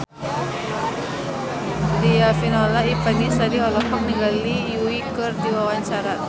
Riafinola Ifani Sari olohok ningali Yui keur diwawancara